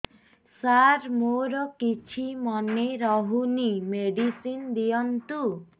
ସାର ମୋର କିଛି ମନେ ରହୁନି ମେଡିସିନ ଦିଅନ୍ତୁ